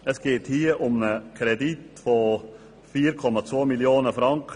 Es geht um einen Kredit von 4,2 Mio. Franken.